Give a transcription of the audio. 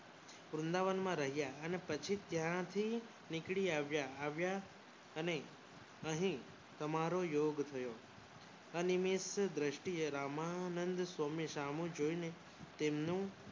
વૃંદાવન માં રહ્યાં અને પછી ત્યાંથી નીકળી આવ્યા અને અહીં સમારોહ યોગ થયો અનિયમિત દ્રષ્ટિએ રામાનંદ સ્વામી સામું જોઈને તેમનું